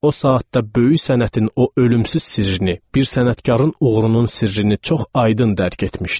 O saatda böyük sənətin o ölümsüz sirrini, bir sənətkarın uğurunun sirrini çox aydın dərk etmişdim.